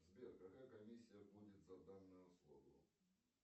сбер какая комиссия будет за данную услугу